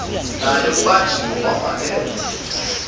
naye ubanjiwe wavalelwa